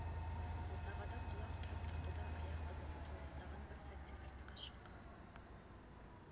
босағада құлақ түріп тұрды да аяқ дыбысы толастаған бір сәтте сыртқа шыққан